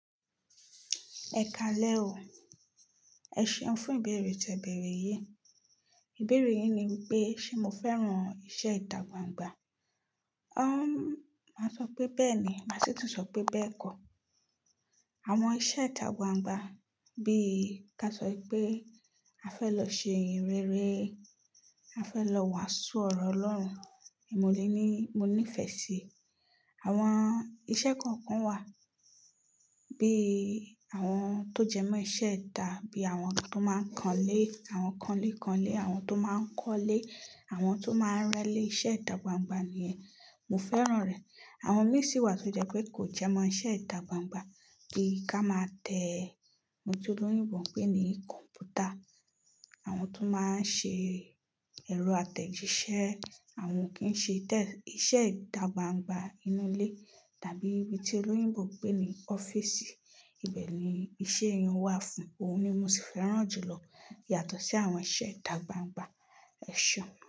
Ẹ ka lẹ́ọ, ẹ ṣeun fún ìbéèrè tẹ̀bẹ̀rẹ̀ yìí. Ìbéèrè yìí ni wípé ṣé mo fẹ́ran iṣẹ́ ìtà gbangba? Uhmm máa sọ pé bẹ́ẹ̀ ni, màá sì tún sọ pé bẹ́ẹ̀ kọ. Àwọn iṣẹ́ ìtà gbangba bí ka sọ pé a fẹ́ lọ ṣe ihinreere, a fẹ́ lọ wàásù ọ̀rọ̀ Ọlọ́run, mo lé ní mo nífẹsí. Àwọn iṣẹ́ kọ̀ọ̀kan wà, bí àwọn tó jẹmọ̀ iṣẹ́ ìtà bí àwọn tó máa ń kanlé, àwọn kanlé kanlé, àwọn tó máa ń kọ́lé, àwọn tó máa ń rẹ́lé, iṣẹ́ ìtà gbangba ni yẹn. Mo fẹ́ran rẹ̀. Àwọn mìíràn sì wà tó jẹ pé kò jẹmọ̀ iṣẹ́ ìtà gbangba bí ká máa teẹ ohun tí olóyìnbó ń pè ní kọ̀mpútà, àwọn tó máa ń ṣe ẹ̀rọ atẹ̀jíṣẹ́, àwọn o kí ń ṣe tẹ iṣẹ́ ìtà gbangba inú ilé tàbí ibi tí olóyìnbó ń pè ní ọ́fíìsì. Ibẹ̀ ni iṣẹ́ eyun-un wà fún, òun ni mo sì fẹ́ran jùlọ yàtọ̀ sí àwọn iṣẹ́ ìtà gbangba. Ẹ ṣeun.